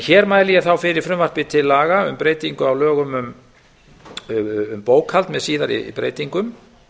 hér mæli ég fyrir frumvarpi til laga um breytingu á lögum um bókhald með síðari breytingum